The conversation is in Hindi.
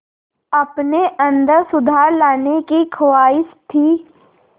अपने अंदर सुधार लाने की ख़्वाहिश थी